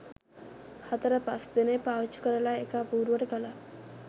හතර පස් දෙනෙක් පාවිච්චි කරලා එක අපුරුවට කළා